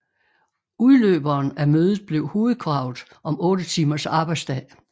Udløberen af mødet blev hovedkravet om otte timers arbejdsdag